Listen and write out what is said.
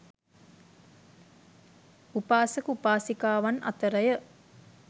උපාසක උපාසිකාවන් අතර ය.